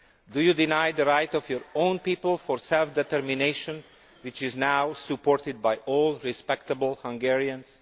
Do you deny the right of your own people to self determination, which is now supported by all respectable Hungarians?